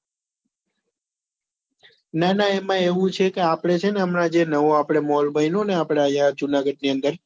ના ના એમાં એવું છે કે આપડે છે ને હમણા જે નવો આપડે mall બન્યો ને આપડે અહિયાં જુનાગઢ ની અંદર